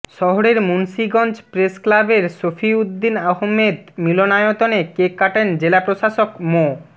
শহরের মুন্সীগঞ্জ প্রেসক্লাবের সফিউদ্দিন আহমেদ মিলনায়তনে কেক কাটেন জেলা প্রশাসক মো